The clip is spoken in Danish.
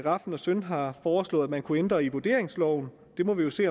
rafn søn har foreslået at man kunne ændre i vurderingsloven og det må vi jo se